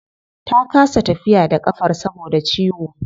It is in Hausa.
Ta kasa tafiya da kafar saboda ciwo